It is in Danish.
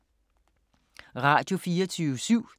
Radio24syv